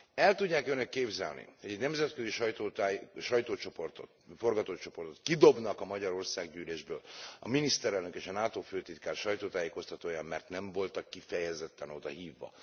El tudják Önök képzelni, hogy egy nemzetközi sajtócsoportot, forgatócsoportot kidobnak a Magyar Országgyűlésből, a miniszterelnök és a NATO főtitkár sajtótájékoztatóján, mert nem voltak kifejezetten oda hívva?